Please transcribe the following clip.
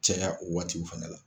Caya o waatiw fana la.